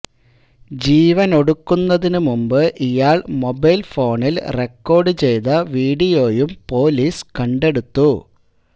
ജീവനൊടുക്കുന്നതിന് മുമ്പ് ഇയാള് മൊബൈല് ഫോണില് റെക്കോര്ഡ് ചെയ്ത വീഡിയോയും പോലിസ് കണ്ടെടുത്തു